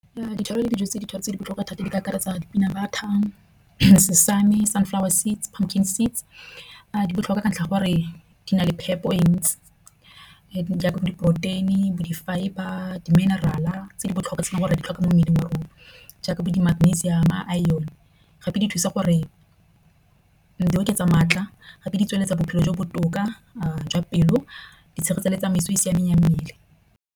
Ditlhoro le dijo tse di thata tse di botlhokwa thata di ka akaretsa di-peanut butter, sesame, chai seeds a di botlhokwa ka ntlha ya gore di na le phepho e ntsi jaaka bo diporoteini bo di-fibre, di-mineral la tse di botlhokwa tse di gore di tlhoka mo mmeleng wa rona, jaaka bo di magnesium, iron. Gape di thusa gore di oketsa maatla gape di tsweletsa bophelo bo botoka jwa pelo di tshegetsa le tsamaiso e e siameng ya mmele.